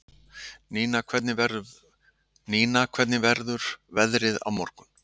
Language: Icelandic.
Nína, hvernig verður veðrið á morgun?